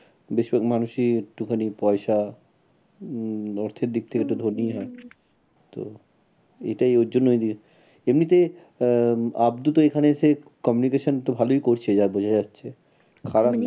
বেশির ভাগ মানুষই একটুখানি পয়সা উম অর্থের দিক থেকে একটু ধোনি হয়। তো এটাই ওর জন্য ওই দিকে, এমনিতে আহ আব্দু তো এখানে এসে communication তো ভালোই করছে যা বোঝা যাচ্ছে। খারাপ না।